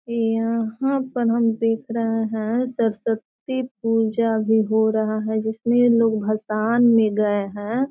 यहां पर हम देख रहे हैं सरस्वती पूजा भी हो रहा है जिसमें लोग भसान में गए हैं।